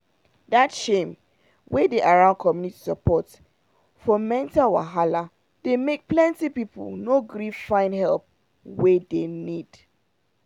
that shame wey dey around community support for mental wahala dey make plenty people no gree find help wey dem need